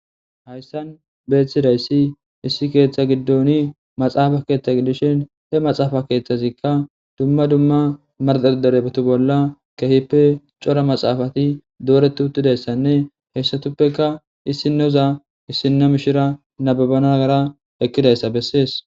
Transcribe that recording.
hayssan beeththidayssi issi keeththa giddoni maxaafa keeththa giddishin he maxaafa keeththazikka dumma dumma madereeeto bolla kehippe cora maxaafati dooreti uttidayssanne heyssatuppeka issinoza issinna mishira nababana nagara ekkidayssa bessees